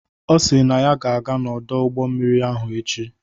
Ọ si na ọ ga-aga n'ọdụ ụgbọ mmiri ahụ echi.